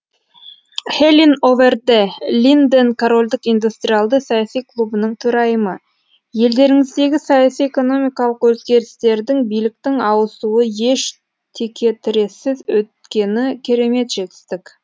хелин овер де линден корольдік индустриалды саяси клубының төрайымы елдеріңіздегі саяси экономикалық өзгерістердің биліктің ауысуы еш текетірессіз өткені керемет жетістік